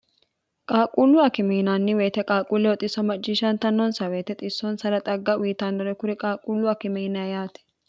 qaaquullu akime yinannni woyite qaaquuleho xisso macishantannonsa woyite xissonsara xagga uyitannore kuri qaaqquullu akime yinaa yaate